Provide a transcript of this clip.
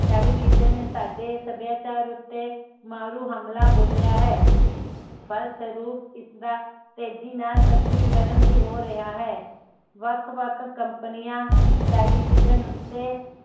television ਨੇ ਸਾਡੇ ਸੱਭਿਆਚਾਰ ਉਤੇ ਮਾਰੂ ਹਮਲਾ ਬੋਲਿਆ ਹੈ ਫਲਸ੍ਵਰੂਪ ਇਸਦਾ ਤੇਜੀ ਨਾਲ ਪੱਛਮੀਕਰਨ ਵੀ ਹੋ ਰਿਹਾ ਹੈ ਵੱਖ ਵੱਖ ਕੰਪਨੀਆਂ ਟੇਲੀਵਿਜਨ ਉਤੇ